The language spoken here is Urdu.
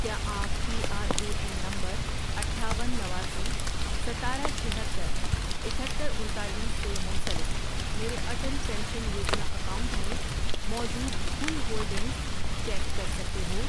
کیا آپ P R A N number اٹھاون، نواسی، ستارہ، چھہتر ،اکہتر، انتالیس، سے منسلک میرے اٹل پینشن یوجنا اکاؤنٹ میں موجود کل ہولڈنگز چیک کر سکتے ہو؟